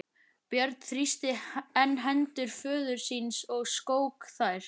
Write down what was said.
Björn þrýsti enn hendur föður síns og skók þær.